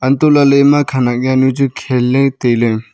antoh lahle ema khanak jaonu chu khan le taile.